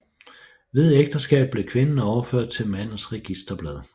Ved ægteskab blev kvinden overført til mandens registerblad